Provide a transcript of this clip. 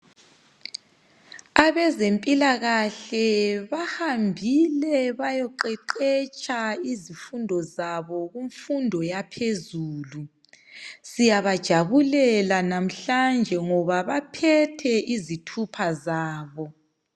Abezempilakahle bahambile bayoqeqetsha izifundo zabo kumfundo yaphezulu. Siyabejabulela namhlanje ngoba baphethe izithupha zabo.